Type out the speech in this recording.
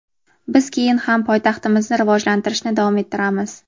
Biz keyin ham poytaxtimizni rivojlantirishni davom ettiramiz.